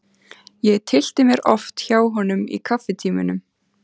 Ég tyllti mér oft hjá honum í kaffitímunum.